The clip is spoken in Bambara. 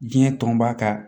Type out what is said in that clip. Diɲɛ tɔnba ka